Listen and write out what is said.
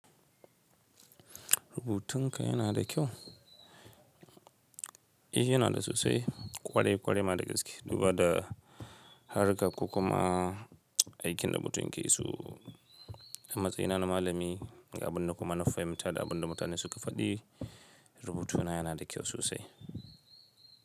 Rubutun ka yana da kyau? Eh yana da sosai, ƙware-ƙware ma da gaske. Duba da harka ko kuma aikin rubutun ki su, a matsayina na malami ga abin da kuma na fahimta da abin da mutane suka faɗi, rubutuna yana da kyau sosai.